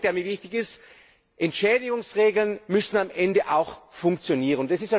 Der zweite Punkt, der mir wichtig ist Entschädigungsregeln müssen am Ende auch funktionieren.